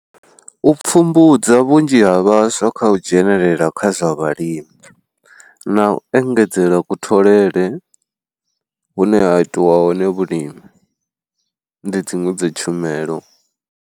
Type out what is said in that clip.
U pfhumbudza vhunzhi ha vhaswa kha u dzhenelela kha zwa vhalimi, na u engedzela kutholele hune ha itiwa hone vhulimi, ndi dziṅwe dza tshumelo.